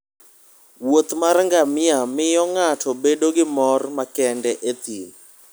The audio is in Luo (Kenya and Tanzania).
wuoth mar ngamia miyo ng'ato bedo gi mor makende e thim